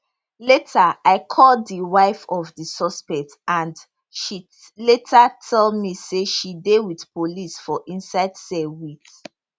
later i call di wife of di suspect and she later tell me say she dey wit police for inside cell wit